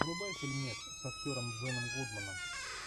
врубай фильмец с актером джоном гудменом